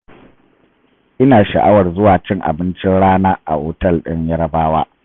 Ina sha'awar zuwa cin abincin rana a otal ɗin yarabawa.